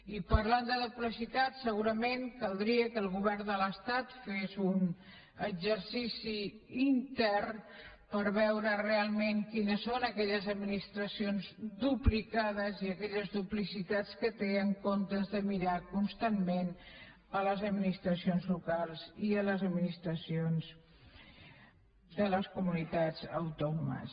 i parlant de duplicitats segurament caldria que el govern de l’estat fes un exercici intern per veure realment quines són aquelles administracions duplicades i aquelles duplicitats que té en comptes de mirar constantment les administracions locals i les administracions de les comunitats autònomes